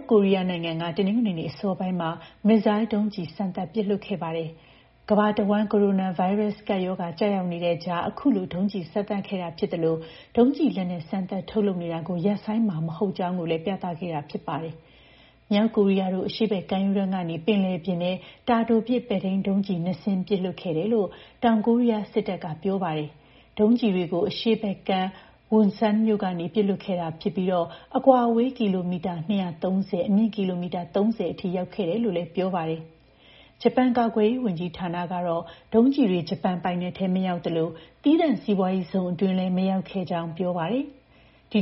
ကိုရီးယားနိုင်ငံက တနင်္ဂနွေနေ့ အစောပိုင်းမှာ မစ်ဇိုင်းဒုံးကျည် ၂ စင်းကို စမ်းသပ်ပစ်လွှတ်ခဲ့ပါတယ်။ ကမ္ဘာတဝှမ်း ကိုရိုနာဗိုင်းရပ်စ် ကပ်ရောဂါ ကျရောက်နေတဲ့ကြား အခုလို ဒုံးကျည်စမ်းသပ်ခဲ့တာ ဖြစ်သလို ဒုံးကျည်လက်နက် စမ်းသပ်ထုတ်လုပ်နေတာကို ရပ်ဆိုင်းမှာမဟုတ်ကြောင်း ပြသခဲ့တာလည်း ဖြစ်ပါတယ်။ မြောက်ကိုရီးယားတို့ အရှေ့ဘက် ကမ်းရိုးတန်းကနေ ပင်လယ်ပြင်ထဲ တာတိုပစ် ပဲ့ထိန်းဒုံးကျည် ၂ စင်းကို ပစ်လွှတ်ခဲ့တာလို့ တောင်ကိုရီးယားစစ်တပ်က ပြောပါတယ်။ ဒုံးကျည်တွေကို အရှေ့ဘက်ကမ်းက Wonsan မြို့ကနေ ပစ်လွှတ်ခဲ့တာဖြစ်ပြီး အကွာအဝေး ကီလိုမီတာ ၂၃၀၊ အမြင့် ကီလိုမီတာ ၃၀ အထိ ရောက်ခဲ့တယ်လို့လည်း ပြောပါတယ်။ ဂျပန် ကာကွယ်ရေးဝန်ကြီးဌာနကတော့ ဒုံးကျည်တွေ ဂျပန်ပိုင်နက်ထဲ မရောက်သလို သီးသန့် စီးပွားရေးဇုန်အတွင်းထဲလည်း မရောက်ခဲ့ကြောင်း ပြောပါတယ်။ ဒီ